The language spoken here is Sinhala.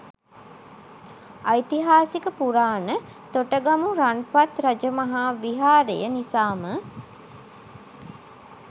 ඓතිහාසික පුරාණ තොටගමු රන්පත් රජමහා විහාරය නිසාම